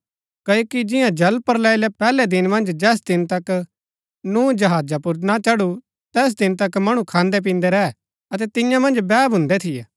क्ओकि जिंआ जलप्रलय रै पैहलै दिन मन्ज जैस दिन तक नूह जहाजा पुर ना चढु तैस दिन तक मणु खान्दै पिन्दै रैह अतै तियां मन्ज बैह भून्दै थियै